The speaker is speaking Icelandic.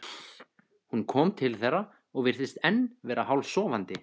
Hún kom til þeirra og virtist enn vera hálfsofandi.